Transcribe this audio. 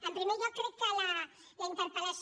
en primer lloc crec que la interpel·lació